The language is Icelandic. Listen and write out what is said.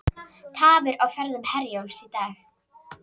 Tafir á ferðum Herjólfs í dag